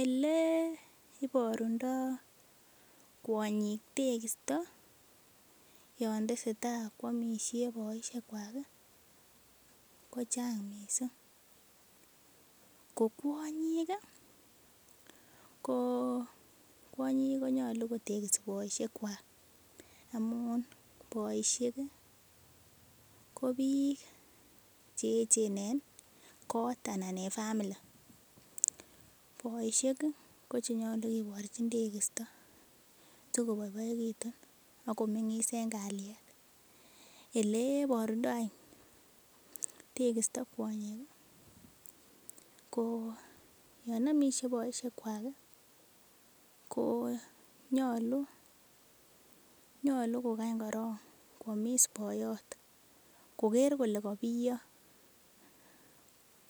Eleibarundo kwanyik tekisto yantesetai kwamishek baishek kwag kochang mising kokwanyik konyalu kotekisis baishek chwak amun baishek kobik cheyechen en kot anan en family kobaishek konyalu kebarchin tegisto sikobaibaikitun akomengisbenbkaliet elebarundoi tekisto kwanyik KO yanyamishe baishek chwak konyalu kokany koron kwamis boyot Koger Kole kabiyo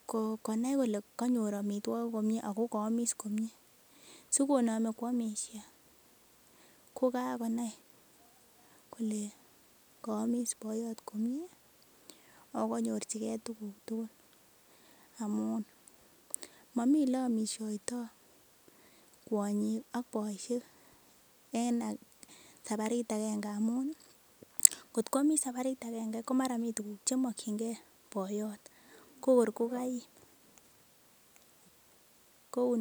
konai Kole kanyor amitwagik komie akokayamis komie sikonami kwamishe kokakonai Kole kayamis boyot komie akokanyorchigei Tuguk tugul amun mamii oleyamishoitoi kwanyik ak baishek en sabarit agenge amun kotkwamis sabarit agenge komara mi tuguk chemakingei boyot kokor kokaim kounoton